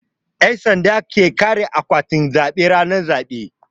Yan sanda su suke kare akwatin zabe ranar zabe.